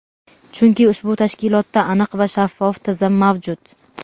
Chunki ushbu tashkilotda aniq va shaffof tizim mavjud.